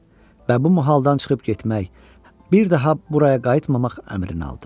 Və bu mohaldan çıxıb getmək, bir daha buraya qayıtmamaq əmrini aldı.